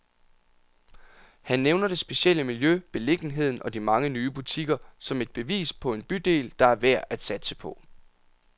Han nævner det specielle miljø, beliggenheden og de mange nye butikker, som et bevis på en bydel, der er værd at satse på.